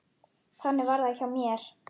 Þannig var það hjá mér.